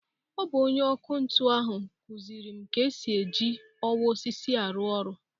Ọ bụ ọnye ọkụ ntụ ahụ kuziere m ka esi e ji ọwa osisi arụ ọrụ.